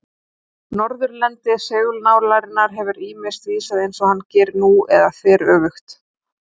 Norðurendi segulnálarinnar hefur ýmist vísað eins og hann gerir nú eða þveröfugt.